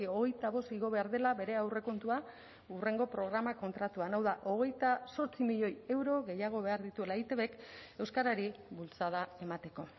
hogeita bost igo behar dela bere aurrekontua hurrengo programa kontratuan hau da hogeita zortzi milioi euro gehiago behar dituela eitbk euskarari bultzada emateko